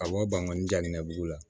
Awɔ bangoni diya nin kɛ dugu la